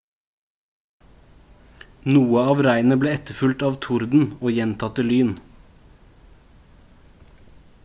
noe av regnet ble etterfulgt av torden og gjentatte lyn